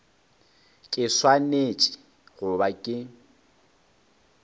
ke swanetše go ba ke